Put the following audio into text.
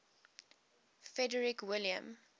frederick william